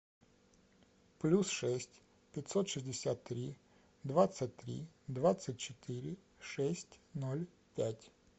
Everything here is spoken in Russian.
плюс шесть пятьсот шестьдесят три двадцать три двадцать четыре шесть ноль пять